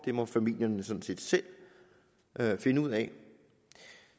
det må familierne sådan set selv finde ud af